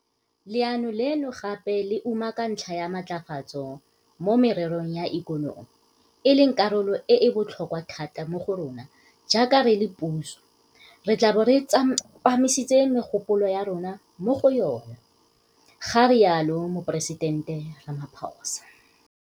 Leano leno gape le umaka ntlha ya matlafatso mo mererong ya ikonomi, e leng karolo e e botlhokwa thata mo go rona jaaka re le puso, re tla bo re tsepamisitse megopolo ya rona mo go yona, ga rialo Moporesitente Ramaphosa.